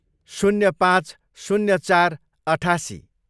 शून्य पाँच, शून्य चार, अठासी